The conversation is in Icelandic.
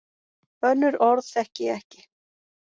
Önnur orð þekki ég ekki.